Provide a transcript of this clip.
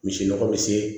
Misi nɔgɔ be se